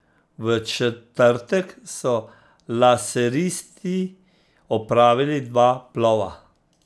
V četrtek so laseristi opravili dva plova.